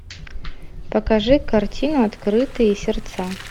покажи картину открытые сердца